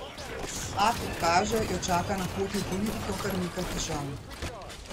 A, kot kaže, jo čaka na poti v politiko kar nekaj težav.